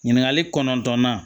Ɲininkali kɔnɔntɔnnan